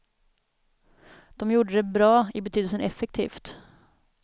De gjorde det bra, i betydelsen effektivt.